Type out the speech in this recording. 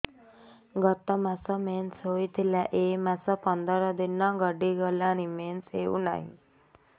ଗତ ମାସ ମେନ୍ସ ହେଇଥିଲା ଏ ମାସ ପନ୍ଦର ଦିନ ଗଡିଗଲାଣି ମେନ୍ସ ହେଉନାହିଁ